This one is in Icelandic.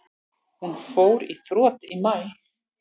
Hún fór í þrot í maí.